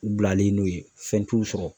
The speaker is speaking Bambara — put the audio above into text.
U bilalen don yen ,fɛn t'u sɔrɔ.